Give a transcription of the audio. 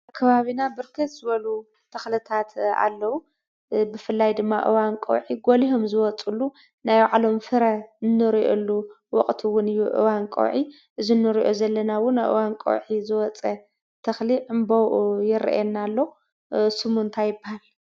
ኣብ ከባቢና ብርክት ዝበሉ ተኽልታት ኣለው፡፡ ብፍላይ ድማ ኣብ እዋን ቀውዒ ጎሊሆም ዝወፅሉ ናይ ባዕሎም ፍረ እንሪኤሉ ወቕቲውን እዩ ኣብ እዋን ቀውዒ። እዚ እንሪኦ ዘለናውን ኣብ እዋን ቀውዒ ዝወፀ ተኽሊ ዕንበብኡ ይረአየና ኣሎ ።ስሙ እንታይ ይባሃል?